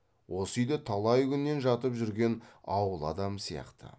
осы үйде талай күннен жатып жүрген ауыл адамы сияқты